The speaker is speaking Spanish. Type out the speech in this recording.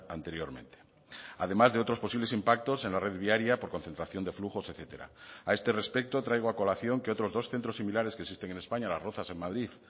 anteriormente además de otros posibles impactos en la red viaria por concentración de flujos etcétera a este respecto traigo a colación que otros dos centros similares que existen en españa las rozas en madrid